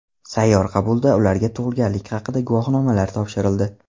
Sayyor qabulda ularga tug‘ilganlik haqida guvohnomalar topshirildi.